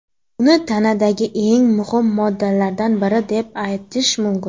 Uni tanadagi eng muhim moddalardan biri deb atash mumkin.